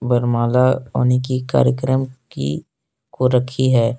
वरमाला होने की कार्यक्रम की को रखी है।